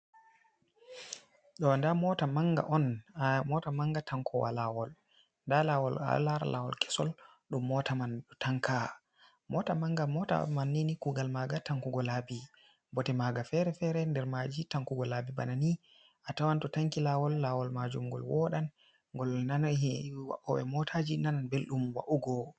Ɗo nda mota manga on mo ta manga tankowa lawol, nda lawol a ɗo lara lawol kesol ɗum mota man ɗo tanka, mota manga mota man nini kugal maga tankugo laabi, bote maga fere-fere nder maji tankugo laabi bana ni, a tawan to tanki lawol, lawol majum ngol woɗa, ngol nanan waoɓe motaji nanan ɓeldum wa'ugo.